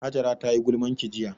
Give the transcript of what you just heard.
Hajara tayi gulmanki jiya